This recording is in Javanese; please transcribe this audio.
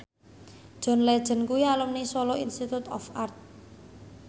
John Legend kuwi alumni Solo Institute of Art